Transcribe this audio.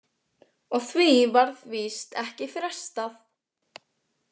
Og því varð víst ekki frestað.